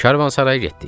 Karvansaraya getdik.